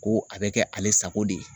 Ko a bɛ kɛ ale sako de ye